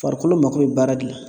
Farikolo mako bɛ baara de la.